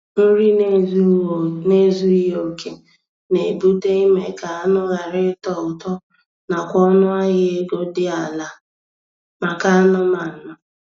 Nri n'ezughi oke na-ebute ime ka anụ ghara ịtọ ụtọ na kwa ọnụ ahịa ego dị ala maka anụmanụ.